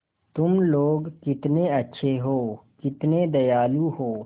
तुम लोग कितने अच्छे हो कितने दयालु हो